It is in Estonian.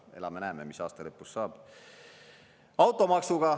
Elame-näeme, mis aasta lõpus saab!